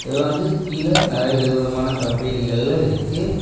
இது வந்து கீழ நறைய விதவிதமான கம்பேனிகள்ல இருக்கு.